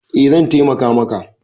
Eh zan taimaka maka.